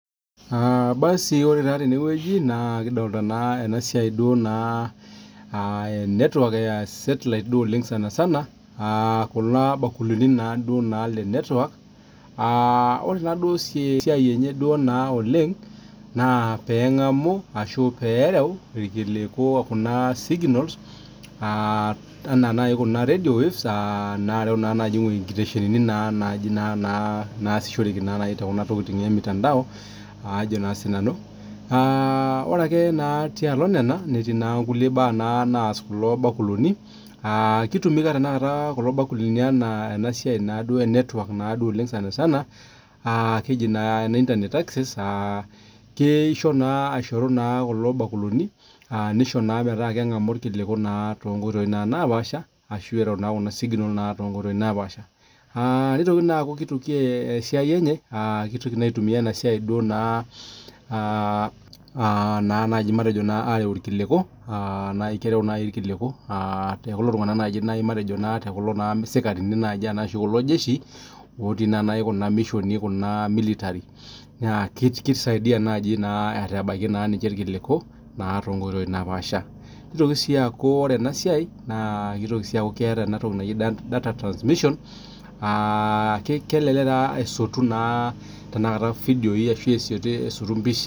Basi ore taa teneweji nikidolita naa network ,sunlight duo sanasana, kulo bakulini naa lenetwork, ore naa esiai enye oleng naa pee engamu ashu pee ereu irkiliku okuna signals enaa naji kuna radio waves, inkiteshenini naa naaji naasishoreki tenasiai emutanda. Ore naake tialo nena netii naake nkulie baa naas kulo bakulini, kitumiya tenakata kulo bakulini tena siai naa enetwork sanasan ,keji naa ene internet ecces, kisho naa aishorua kulo bakulini, nisho naa metaa kengamu irkiliku toonkoitoi naapaasha, ashu eiro naa kuna signals toonkoitoi napaasha .Kitoki naa naji aitumiyia ena siai matejo areu irkiliku, keretu naaji irkiliku tenkulo tunganak naaji kulo sikarini naa naji ashu kulo jesi otii naa naji kuna mishoni kuna military naa kisaidia naji aitabaiki ninche irkiliku toonkoitoi naapaasha. Nitoki sii aku ore ena siai keeta data transmission, kelelek naa esotu vidioi ashu mpishai.